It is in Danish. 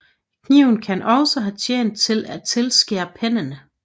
Kniven kan også have tjent til at tilskære pennen